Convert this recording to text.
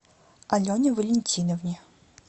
алене валентиновне